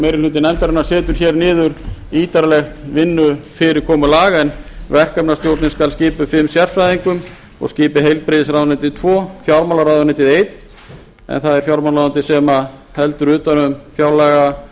meiri hluti nefndarinnar setur hér niður ítarlegt vinnufyrirkomulag en verkefnastjórnin skal skipuð fimm sérfræðingum og skipi heilbrigðisráðuneytið tvo fjármálaráðuneytið einn en það er fjármálaráðuneytið sem heldur utan um fjárlagaliðina